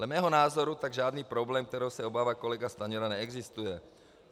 Dle mého názoru tak žádný problém, kterého se obává kolega Stanjura, neexistuje.